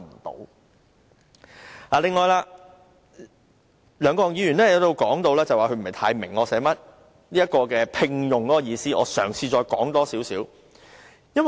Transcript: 對於梁國雄議員說他不太明白"聘用"的意思，我嘗試再多一點解說。